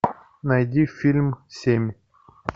найди фильм семь